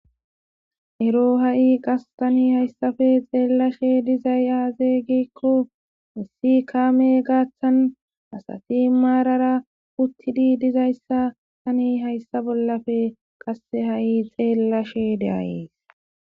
ero ha7i qas tani hayssafe xeellashe dizay aazey gikko issi kaame gaaththan asati maarara uttidi dizayssa tani hayssa bollappe qasse ha7i xeellashe de'ayees